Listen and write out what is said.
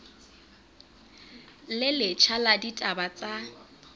le letjha la ditaba tsa